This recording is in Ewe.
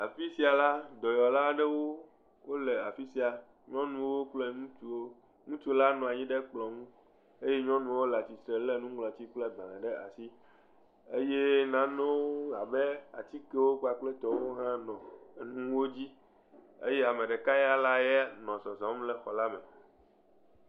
Afi sia la dɔyɔlawo nyɔnuwo kple ŋutsuwo ŋutsu la nɔ anyi ɖe kplɔ nu eye nyɔnuwo le titre le nŋlɔti kple agbalẽ ɖe asi eye nanewo abe atikewo kpakple tɔwo ha nɔ nuwo dzi eye ame ɖeka ya nɔ zɔzɔm le xɔ la me